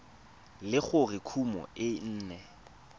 le gore kumo e ne